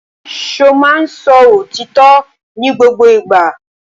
Ṣo ma ń sọ òótọ́ ní gbogbo ìgbà?